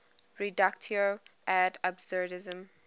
reductio ad absurdum